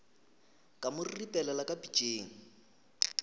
ka mo ripelela ka pitšeng